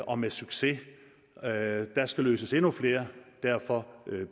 og med succes der skal løses endnu flere og derfor